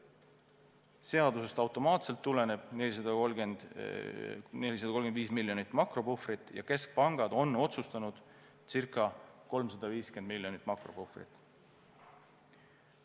Seadusest automaatselt tuleneb 435 miljonit makropuhvrit ja keskpangad on otsustanud circa 350 miljonit makropuhvrit.